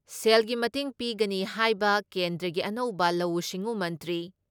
ꯁꯦꯜꯒꯤ ꯃꯇꯦꯡ ꯄꯤꯒꯅꯤ ꯍꯥꯏꯕ ꯀꯦꯟꯗ꯭ꯔꯒꯤ ꯑꯅꯧꯕ ꯂꯧꯎ ꯁꯤꯡꯎ ꯃꯟꯇ꯭ꯔꯤ